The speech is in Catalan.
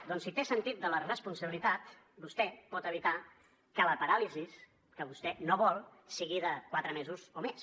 doncs si té sentit de la responsabilitat vostè pot evitar que la paràlisi que vostè no vol sigui de quatre mesos o més